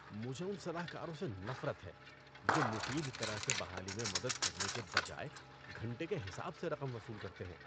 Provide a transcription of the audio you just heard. مجھے ان صلاح کاروں سے نفرت ہے جو مفید طرح سے بحالی میں مدد کرنے کے بجائے گھنٹے کے حساب سے رقم وصول کرتے ہیں۔